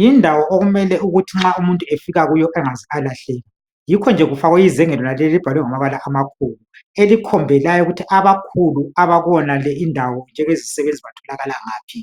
Yindawo okumele ukuthi nxa umuntuefika kuyo angaze alahleka .Yikhonje kufakwe izenge lonaleli elibhalwe ngamabala amakhulu elikhombelayo ukuthi abakhulu abakuyonale indawo njengezisebenzi batholakala ngaphi